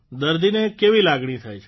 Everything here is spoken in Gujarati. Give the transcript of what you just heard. દર્દીને કેવી લાગણી થાય છે